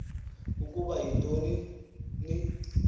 ukuba yinto ni